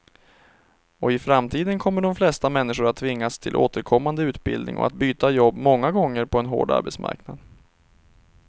Och i framtiden kommer de flesta människor att tvingas till återkommande utbildning och att byta jobb många gånger på en hård arbetsmarknad.